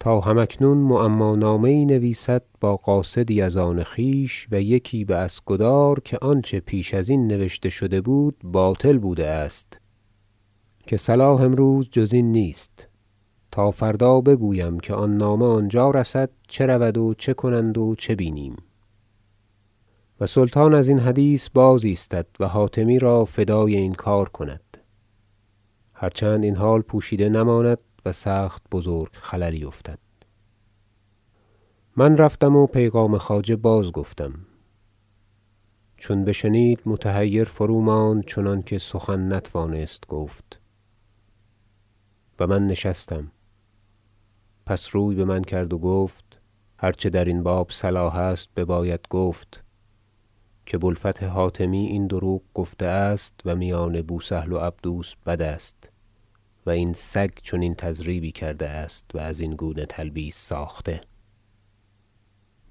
تا هم اکنون معما نامه یی نویسد با قاصدی از آن خویش و یکی به اسکدار که آنچه پیش ازین نوشته شده بود باطل بوده است که صلاح امروز جز این نیست تا فردا بگویم که آن نامه آنجا رسد چه رود و چه کنند و چه بینیم و سلطان ازین حدیث بازایستد و حاتمی را فدای این کار کند هر چند این حال پوشیده نماند و سخت بزرگ خللی افتد من رفتم و پیغام خواجه بازگفتم چون بشنید متحیر فروماند چنانکه سخن نتوانست گفت و من نشستم پس روی بمن کرد و گفت هر چه درین باب صلاح است بباید گفت که بوالفتح حاتمی این دروغ گفته است و میان بوسهل و عبدوس بد است و این سگ چنین تضریبی کرده است و از این گونه تلبیس ساخته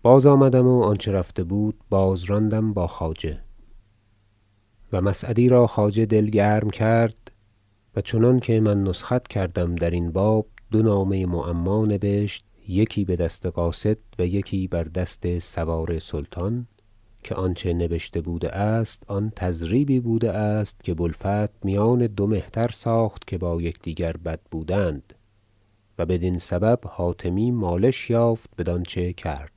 باز آمدم و آنچه رفته بود باز راندم با خواجه و مسعدی را خواجه دل گرم کرد و چنانکه من نسخت کردم درین باب دو نامه معما نبشت یکی بدست قاصد و یکی بر دست سوار سلطان که آنچه نبشته بوده است آن تضریبی بوده است که بوالفتح میان دو مهتر ساخت که با یکدیگر بد بودند و بدین سبب حاتمی مالش یافت بدانچه کرد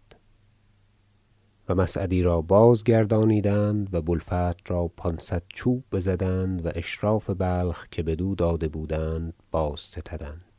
و مسعدی را بازگردانیدند و بوالفتح را پانصد چوب بزدند و اشراف بلخ که بدو داده بودند بازستدند